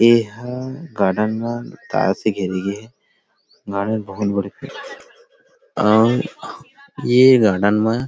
ए हा गार्डन म तार से घेरे ह ना और ये गार्डन म --